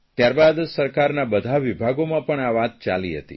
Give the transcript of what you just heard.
ત્યાર બાદ સરકારના બધા વિભાગોમાં પણ આ વાત ચાલી હતી